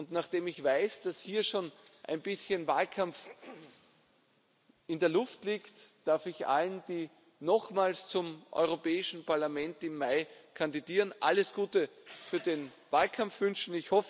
Nachdem ich weiß, dass hier schon ein bisschen Wahlkampf in der Luft liegt, darf ich allen, die im Mai nochmals zum Europäischen Parlament kandidieren, alles Gute für den Wahlkampf wünschen.